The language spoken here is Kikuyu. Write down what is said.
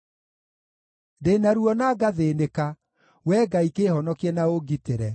Ndĩ na ruo na ngathĩĩnĩka; Wee Ngai kĩĩhonokie na ũngitĩre.